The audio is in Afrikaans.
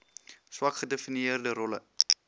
swak gedefinieerde rolle